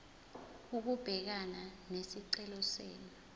ukubhekana nesicelo senu